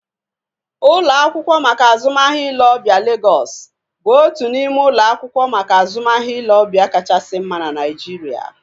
Ụlọ akwụkwọ maka azụmahịa ile ọbịa Legọs bụ otu n'ime ụlọ akwụkwọ maka azụmahịa ile ọbịa kachasị mma na Naijiria